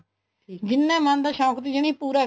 ਜਿੰਨਾ ਮਨ ਦਾ ਸ਼ੋਂਕ ਸੀਗਾ ਪੁਰਾ